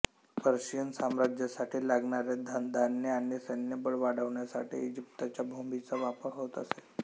Persian साम्राज्यासाठी लागणारे धनधान्य आणि सैन्यबळ वाढवण्यासाठी इजिप्तच्या भूमीचा वापर होत असे